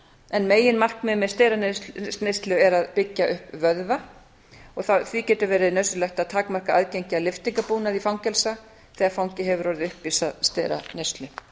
en meginmarkmið með steraneyslu er að byggja upp vöðva og því getur verið nauðsynlegt að takmarka aðgengi að lyftingabúnaði fangelsa þegar fangi hefur orðið uppvís að steraneyslu